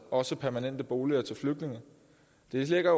også permanente boliger til flygtninge det lægger